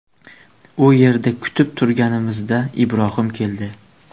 U yerda kutib turganimizda Ibrohim keldi.